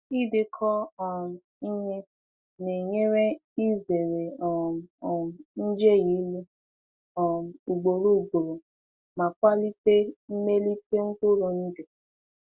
Ịdekọ um ihe na-enyere izere um um njehie ịlụ um ugboro ugboro ma kwalite mmelite mkpụrụ ndụ.